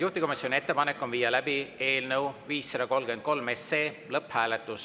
Juhtivkomisjoni ettepanek on viia läbi eelnõu 533 lõpphääletus.